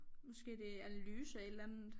Måske det analyse af et eller andet